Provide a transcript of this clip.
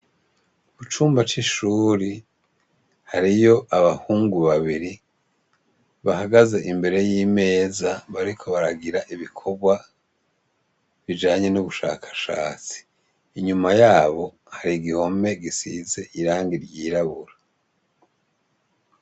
Ku cumba c'ishuri, hariyo abahungu babiri, bahagaze imbere y'imeza bariko baragira ibikorwa bijanye n'ubushakashatsi. Inyuma yabo hari igihome gisize irangi ryirabura.